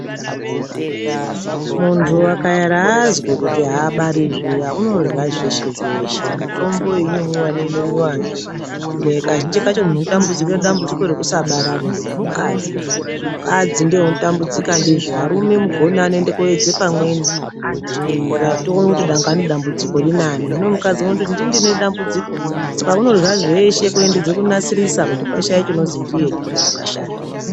Muntu akaera azwa kuti abari zviya unorya zveshe zveshe. Mitombo iyi inomwiwa neinomwiwazve, kazhinji kacho muntu unotambudzika nedambudziko rekusabarari mukadzi, arume mugoni anoende koedze pamweni, toene kuti dambudziko rinani, hino mukadzi unoti "ndini ndinedambudziko', saka unorya zveshe kuedze kunasirisa kuti pashaiye chinozi ndiye wakashata.